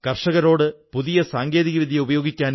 താങ്കളോടു സംസാരിക്കാനായതിൽ വളരെ സന്തോഷം